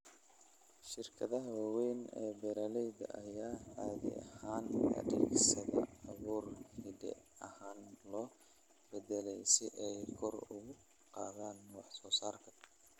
Shirkadaha waaweyn ee beeralayda ayaa caadi ahaan adeegsada abuur hidde ahaan la beddelay si ay kor ugu qaadaan wax soo saarka.